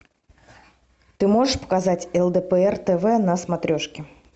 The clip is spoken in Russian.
ты можешь показать лдпр тв на смотрешке